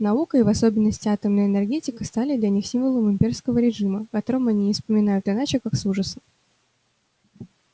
наука и в особенности атомная энергетика стали для них символом имперского режима о котором они не вспоминают иначе как с ужасом